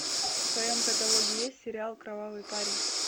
в твоем каталоге есть сериал кровавый парень